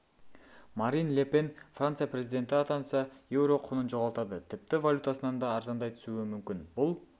марин ле пен франция президенті атанса еуро құнын жоғалтады тіпті валютасынан да арзандай түсуі мүмкін бұл